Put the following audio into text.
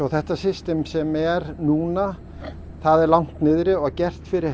þetta system sem er núna er langt niðri og gert fyrir